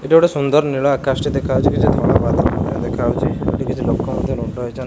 ଏଟା ଗୋଟେ ସୁନ୍ଦର ନୀଳ ଆକାଶ ଟି ଦେଖାହଉଚି କିଛି ଧଳା ବାଦଲ ମଧ୍ୟ ଦେଖାହଉଚି ଏଠି କିଛି ଲୋକ ମଧ୍ୟ ରୁଣ୍ଡ ହେଇଚନ୍ତ--